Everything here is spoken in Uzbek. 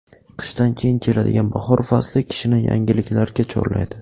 Qishdan keyin keladigan bahor fasli kishini yangiliklarga chorlaydi.